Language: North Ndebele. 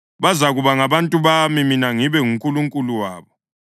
Bazakuba ngabantu bami, mina ngibe nguNkulunkulu wabo.